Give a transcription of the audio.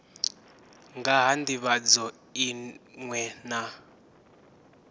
nga ha ndivhadzo iṅwe na